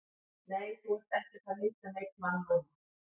Nei, þú ert ekki að fara að hitta neinn mann núna.